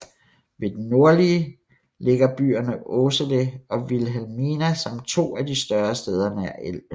Ved den nordlige ligger byerne Åsele og Vilhelmina som to af de større steder nær elven